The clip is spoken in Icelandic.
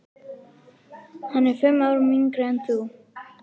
Hann er fimm árum yngri en hún.